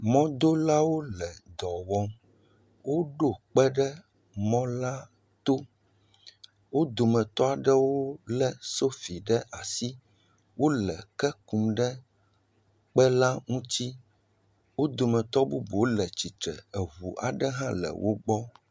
Mɔdolawo le dɔ wɔm, woɖo kpe ɖe mɔla to, wo dometɔ aɖewo le sofi ɖe asi, wole ke kum ɖe ekpe la ŋuti, wo dometɔ bubuwo le tsitre. Eŋu aɖe hã nɔ wogbɔ.